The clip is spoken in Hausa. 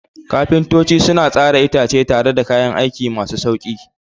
Kafintoci suna tsara itace tare da kayan aiki masu sauƙi.